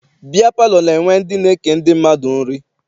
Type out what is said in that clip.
Biya palọ na-enwe ndị na-eke ndị mmadụ nri.